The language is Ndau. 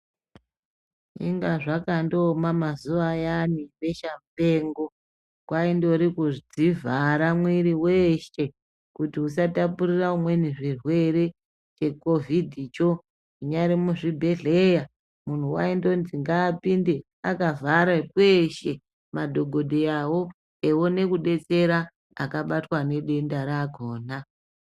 Inga zvakandooma mazuva ayani ebeshamupengo. Kwaindori kudzivhara mwiri weshe kuti usatapurira umweni zvirwere chekovhidhicho, munyari muzvibhedhleya muntu waindoinzi ngaapinde akavhare kweshe madhokodheyawo eione kudetsera akabatwa nedenda rakona.